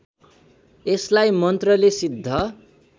यसलाई मन्त्रले सिद्ध